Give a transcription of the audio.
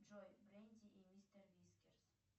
джой бренди и мистер вискерс